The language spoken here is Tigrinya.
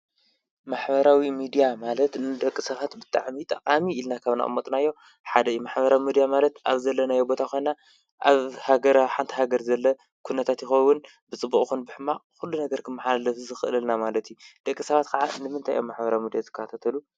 ማሕበራዊ ምድያ ማለት ንደቂ ሰባት ብጣዕሚ ጠቃሚ ኢልና ካብ ዘቀመጥናዮ ሓደ እዩ። ማሕበራዊ ምድያ ማለት ኣብ ዘለናዮ ቦታ ኮይና ኣብ ሓንቲ ሃገር ዘሎ ኩነታት ይከውን ብፅቡቅ ይኩን ብሕማቅ ኩሉ ነገር ክመሓላለፍ ይክእለልና ማለት እዩ። ደቂ ሰባት ንምንታይ እዮም ማሕበራዊ ምድያ ዝከታተሉ?